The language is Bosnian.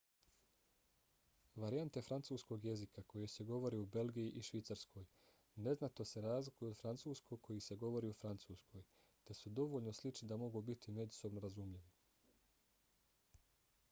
varijante francuskog jezika koje se govore u belgiji i švicarskoj neznatno se razlikuju od francuskog koji se govori u francuskoj te su dovoljno slični da mogu biti međusobno razumljivi